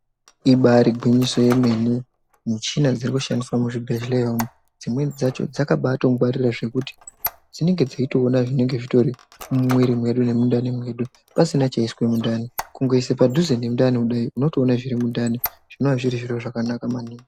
Ibari gwinyiso yemene muchini dziri kushandiswa muzvibhehlera umwu dzimweni dzacho dzakabaitongwarira zvakuti dzinenge dzeitoona zvinenge zvitori mumuri medu nemundani medu pasina chaiswa mundani kungoisa padhuze nemundani unotoona zvese zviri mundani